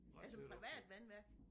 Altså privat vandværk?